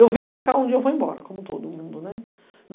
Eu vim para cá, um dia eu vou embora, como todo mundo, né.